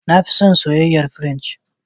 Na fi son soyayen fransi.